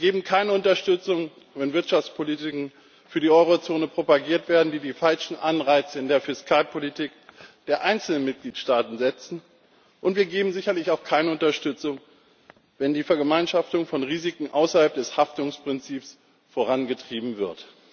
Wir geben keine Unterstützung, wenn wirtschaftspolitische Strategien für die Eurozone propagiert werden, die die falschen Anreize in der Fiskalpolitik der einzelnen Mitgliedstaaten setzen, und wir geben sicherlich auch keine Unterstützung, wenn die Vergemeinschaftung von Risiken außerhalb des Haftungsprinzips vorangetrieben wird.